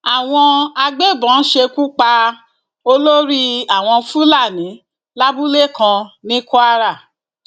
àwọn agbébọn ṣekú pa olórí àwọn fúlàní lábúlé kan ní kwara